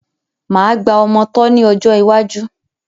Máa gba ọmọ tọ́ ni ọjọ́ iwájú